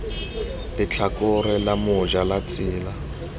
letlhakore la moja la tsela